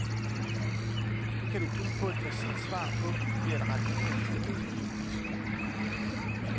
Det kan du kun få et præcist svar på ved at rette henvendelse til biologistudiet.